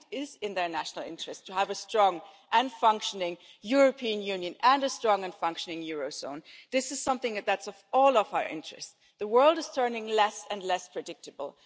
Actually it is in their national interests to have a strong and functioning European Union and a strong and functioning eurozone. This is something that is in all of our interests. The world is turning less and less predictable.